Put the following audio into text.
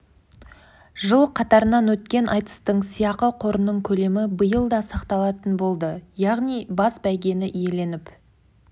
жыл қатарынан өткен айтыстың сыйақы қорының көлемі биыл да сақталатын болды яғни бас бәйгені иеленіп